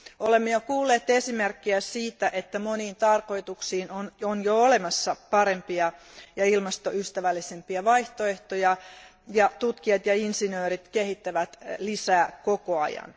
Olemme jo kuulleet esimerkkejä siitä, että moniin tarkoituksiin on jo olemassa parempia ja ilmastoystävällisempiä vaihtoehtoja, ja tutkijat ja insinöörit kehittävät niitä lisää koko ajan.